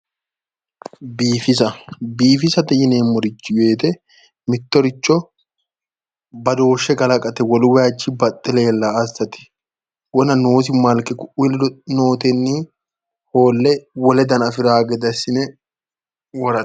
biifisa biifisate yineemmorichi woyite mittoricho badooshshe kalaqate wolurichi wiinni baxxe leellanno assate wona noosi malke kuii ledo nootenni hoolle wole dana afiranno gede assine worate.